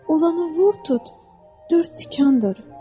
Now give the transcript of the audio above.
Olanı vur tut dörd tikandır.